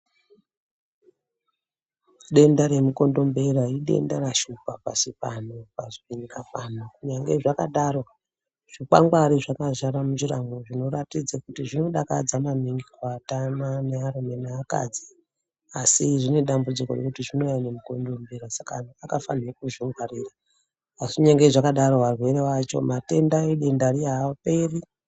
Denda remukondombera idenda rashuoa pashi pano pashi penyikabpano kunyange zvakadaro zvikwangwari zvakadzara munjiramo zvinoratidza kuti zvinodakadza maningi kuatana nearume neakadzi asi zvine dambudziko nekuti zvinouya ngemukondombera saka antu akafanira kuzvingwarira asi kunyange zvakadaro arwere acho matenda edenda riya aaperi.